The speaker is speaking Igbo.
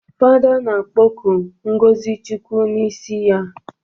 Fada na-akpọku ngọzi chukwu n'isi ya